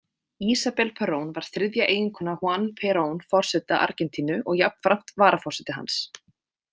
Isabel Perón var þriðja eiginkona Juan Perón forseta Argentínu og jafnframt varaforseti hans.